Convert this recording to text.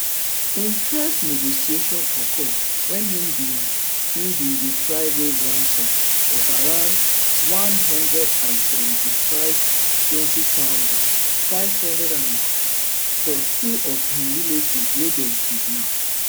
im first negotiation occur wen im bin im bin dey try raise ransom of around n one hundred and seventy-fivem twelve thousand, five hundred for two of im relatives wey dem kidnap